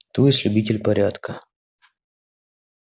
то есть любитель порядка